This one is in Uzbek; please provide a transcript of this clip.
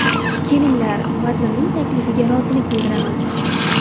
Kelinglar, vazirning taklifiga rozilik bildiramiz”.